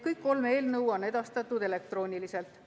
Kõik kolm eelnõu on edastatud elektrooniliselt.